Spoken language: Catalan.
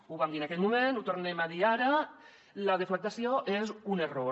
ho vam dir en aquell moment ho tornem a dir ara la deflactació és un error